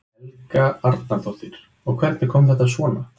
Helga Arnardóttir: Og hvernig kom þetta svona?